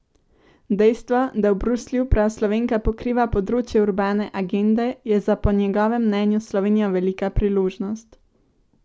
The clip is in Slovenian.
Dejstvo, da v Bruslju prav Slovenka pokriva področje urbane agende, je za po njegovem mnenju Slovenijo velika priložnost.